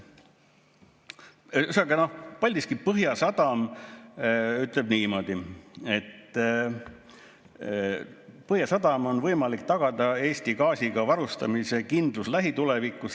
Siin öeldakse niimoodi, et Põhjasadamas on võimalik tagada Eesti gaasiga varustamise kindlus lähitulevikus.